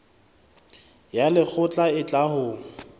ya lekgotla e tla ho